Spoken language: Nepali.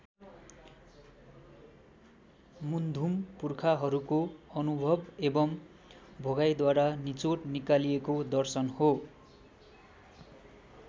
मुन्धुम पुर्खाहरूको अनुभव एवम् भोगाइद्वारा निचोड निकालिएको दर्शन हो।